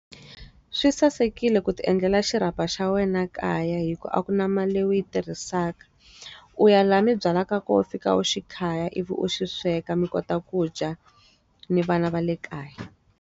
Swi sasekile ku ti endlela xirhapa xa wena ekaya hikuva a ku na mali u yi tirhisaka. U ya laha mi byala ka ko fika u xi khaya ivi u xi sweka mi kota ku dya ni vana va le kaya.